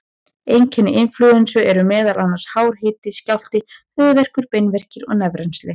Einkenni inflúensu eru meðal annars hár hiti, skjálfti, höfuðverkur, beinverkir og nefrennsli.